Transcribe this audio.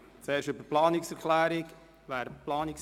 Zuerst stimmen wir über die Planungserklärung ab.